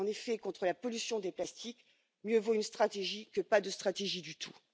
En effet, contre la pollution des plastiques, mieux vaut une stratégie que pas de stratégie du tout.